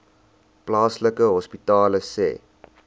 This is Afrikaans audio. plaaslike hospitale sê